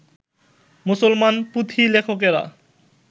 মুসলমান পুঁথিলেখকেরা